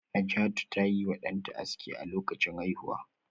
Najatu ta yi wa danta aski a lokacin haihuwa